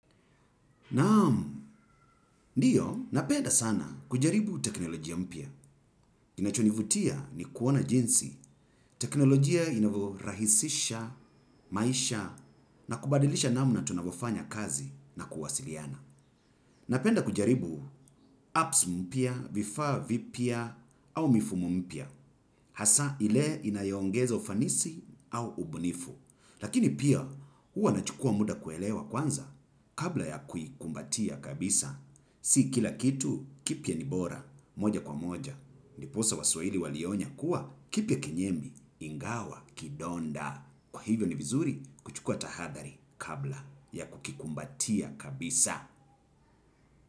Naam. Ndiyo, napenda sana kujaribu teknolojia mpya. Inachonivutia ni kuona jinsi. Teknolojia inavyorahisisha, maisha, na kubadilisha namna tunavyofanya kazi na kuwasiliana. Napenda kujaribu apps mpya, vifaa vipya, au mifumo mpya. Hasa ile inayoongeza ufanisi au ubunifu. Lakini pia huwa nachukua muda kuelewa kwanza kabla ya kuikumbatia kabisa. Si kila kitu kipya ni bora, moja kwa moja. Ndiposa waswahili walionya kuwa kipya kenyemi, ingawa, kidonda. Kwa hivyo ni vizuri kuchukua tahadhari kabla ya kukikumbatia kabisa.